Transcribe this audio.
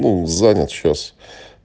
ну занят сейчас